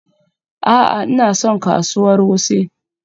A'a, Ina son kasuwar Wuse.